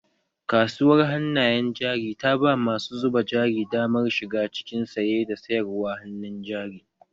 Kasuwar hannayen jari ta ba masu zuba jari damar shiga cikin saye da sayarwa hannun jari